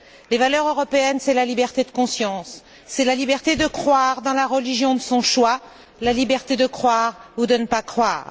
Les valeurs européennes, c'est la liberté de conscience, la liberté de croire dans la religion de son choix, la liberté de croire ou de ne pas croire.